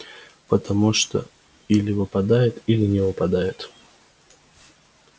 потому что или выпадет или не выпадет